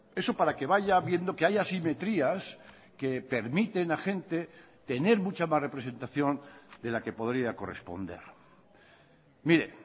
eso para que vaya viendo que hay asimetrías que permiten a gente tener mucha más representación de la que podría corresponder mire